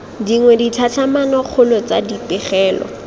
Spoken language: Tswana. dingwe ditlhatlhamano kgolo tsa dipegelo